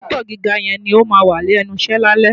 Dọ́kítà gíga yẹn ni ó máà wà lẹ́nu iṣẹ́ lálẹ́.